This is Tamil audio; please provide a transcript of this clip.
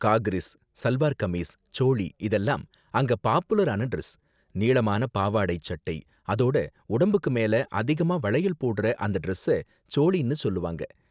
காக்ரிஸ், சல்வார் கமீஸ், சோளி இதெல்லாம் அங்க பாப்புலரான டிரஸ். நீளமான பாவாடை, சட்டை அதோட உடம்புக்கு மேல அதிகமா வளையல் போடுற அந்த டிரஸ்ஸ சோளினு சொல்லுவாங்க.